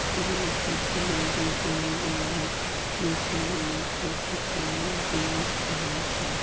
এবং সেখানে দুজন লোক মেশিনের মধ্যে কিছু জিনিস ঢালছে।